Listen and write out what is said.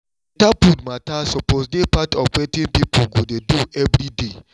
better food matter suppose dey part of wetin people go dey do every day